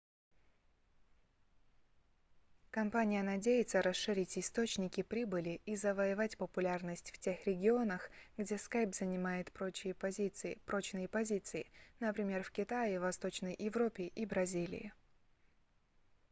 компания надеется расширить источники прибыли и завоевать популярность в тех регионах где skype занимает прочные позиции например в китае восточной европе и бразилии